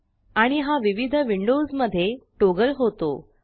आणि हा विविध विंडोज मध्ये टॉगल होतो